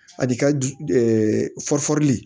Ani ka fɔri di